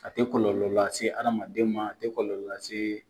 A tɛ kɔlɔlɔ lase adamaden ma, a tɛ kɔlɔlɔ lase